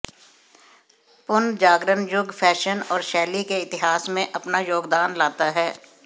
पुनर्जागरण युग फैशन और शैली के इतिहास में अपना योगदान लाता है